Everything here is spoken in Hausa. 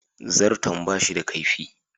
Zarton ba shi da kaifi.